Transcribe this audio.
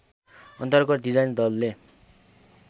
अन्तर्गत डिजाइन दलले